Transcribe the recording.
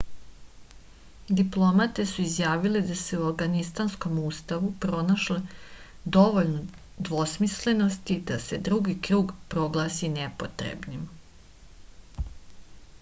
diplomate su izjavile da su u avganistanskom ustavu pronašle dovoljno dvosmislenosti da se drugi krug proglasi nepotrebnim